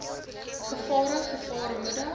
gevare gevaar moedig